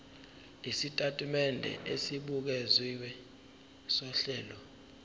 isitatimende esibukeziwe sohlelo